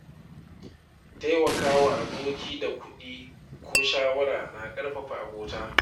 Taimaka wa aboki da kuɗi ko shawara na ƙarfafa abota.